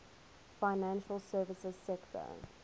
financial services sector